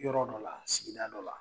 Yɔrɔ dɔ la sigida dɔ la.